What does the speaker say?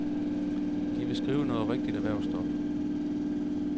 De vil skrive noget rigtig erhvervsstof.